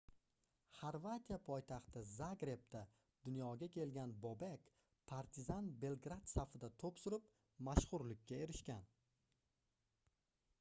xorvatiya poytaxti zagrebda dunyoga kelgan bobek partizan belgrad safida toʻp surib mashhurlikka erishgan